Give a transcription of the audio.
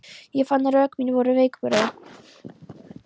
Ég fann að rök mín voru veikburða.